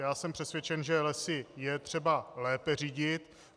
Já jsem přesvědčen, že Lesy je třeba lépe řídit.